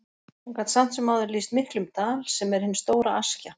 Hann gat samt sem áður lýst miklum dal, sem er hin stóra Askja.